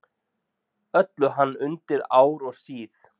Öllu hann undi ár og síð.